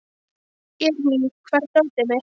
Irmý, hvar er dótið mitt?